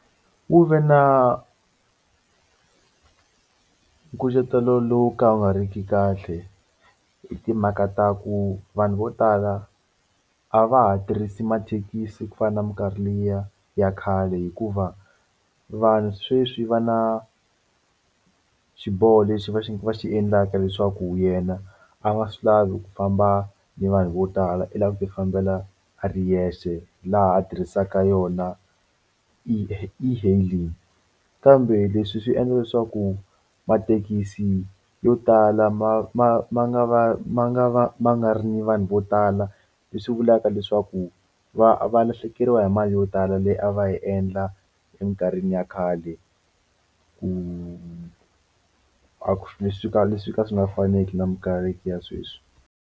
Wu ve na nkucetelo lowu ka wu nga ri ki kahle hi timhaka ta ku vanhu vo tala a va ha tirhisi mathekisi ku fana na minkarhi liya ya khale hikuva vanhu sweswi va na xiboho lexi va xi va xi endlaka leswaku yena a nga swi lavi ku famba ni vanhu vo tala i lava ku ti fambela a ri yexe laha a tirhisaka yona e e-hailing kambe leswi swi endla leswaku mathekisi yo tala ma ma ma nga va ma nga va ma nga ri na vanhu vo tala leswi vulaka leswaku ku va va lahlekeriwa hi mali yo tala leyi a va yi endla eminkarhini ya khale ku a leswi ka leswi ka swi nga faneki na minkarhi ya sweswi.